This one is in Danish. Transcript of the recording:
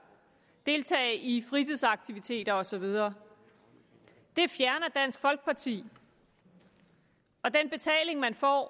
deltage i fritidsaktiviteter og så videre det fjerner dansk folkeparti og den betaling man får